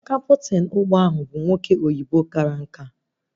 Kaptịn ụgbọ ahụ bụ nwoke oyibo kara nkà